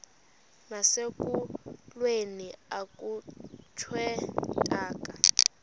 nasekulweni akhutshwe intaka